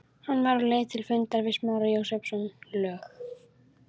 Hann var á leið til fundar við Smára Jósepsson, lög